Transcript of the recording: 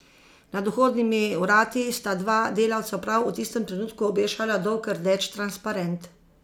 Nad vhodnimi vrati sta dva delavca prav v tistem trenutku obešala dolg rdeč transparent.